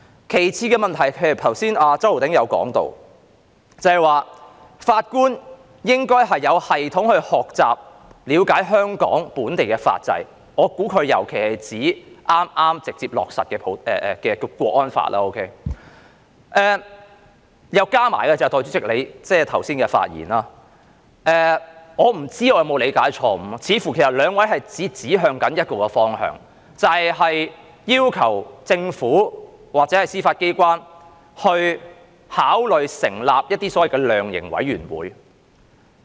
其次的問題是，周浩鼎議員剛才提到，法官應該有系統地學習和了解香港本地法制，我估計他尤其是指剛剛直接落實的《香港國安法》，再加上代理主席剛才的發言，我不知道有否理解錯誤，似乎兩位也是指向同一方向，就是要求政府或司法機關考慮成立所謂的量刑委員會。